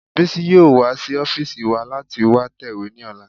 Bísí yóò wá sí ọ́fìsì wa láti wá tẹ̀wé ní ọ̀la